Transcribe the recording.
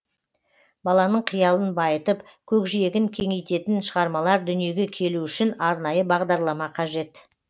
баланың қиялын байытып көкжиегін кеңейтетін шығармалар дүниеге келу үшін арнайы бағдарлама қажет